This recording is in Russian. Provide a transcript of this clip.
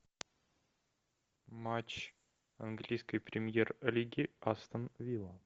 матч английской премьер лиги астон вилла